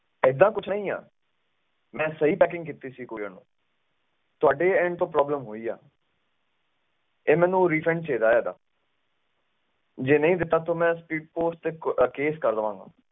ਐਸਾ ਕੁਛ ਨਹੀਂ ਆ ਮੈਂ ਸਹੀ packing ਕੀਤੀ ਸੀ parcel ਨੂੰ ਤੁਹਾਡੇ end ਤੋਂ problem ਹੋਈ ਆ ਤੇ ਮੈਨੂੰ refund ਚਾਹੀਦਾ ਏਦਾਂ ਜੇ ਨਹੀਂ ਦਿੱਤਾ ਤਾ ਮੈਂ case ਤੇ ਕਰ ਦਿਆਂਗਾ speedpost